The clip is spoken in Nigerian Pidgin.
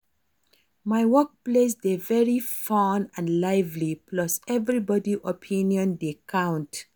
My workplace dey very fun and lively plus everybody opinion dey count